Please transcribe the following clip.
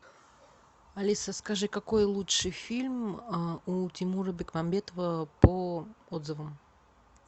алиса скажи какой лучший фильм у тимура бекмамбетова по отзывам